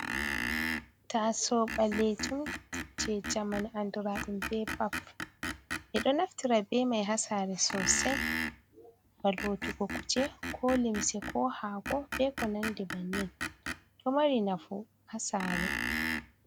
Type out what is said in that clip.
Taaso ɓalejun, je jamanu anduraɗum be baf ɓe ɗo naftira be mai hasare sosei ba lotugo kuje ko limse ko hako be ko Nandi bannin ɗo mari nafu hasare.